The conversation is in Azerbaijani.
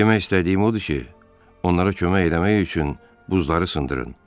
Demək istədiyim odur ki, onlara kömək eləmək üçün buzları sındırın.